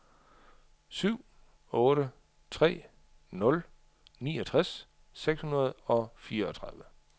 syv otte tre nul niogtres seks hundrede og fireogtredive